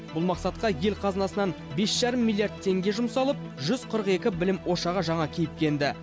бұл мақсатқа ел қазынасынан бес жарым миллиард теңге жұмсалып жүз қырық екі білім ошағы жаңа кейіпке енді